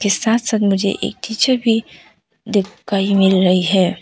इस साथ साथ मुझे एक टीचर भी दिख कही मिल रही है।